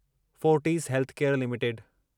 Fortis Healthcare limited